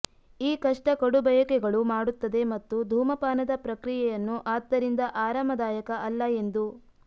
ಈ ಕಷ್ಟ ಕಡುಬಯಕೆಗಳು ಮಾಡುತ್ತದೆ ಮತ್ತು ಧೂಮಪಾನದ ಪ್ರಕ್ರಿಯೆಯನ್ನು ಆದ್ದರಿಂದ ಆರಾಮದಾಯಕ ಅಲ್ಲ ಎಂದು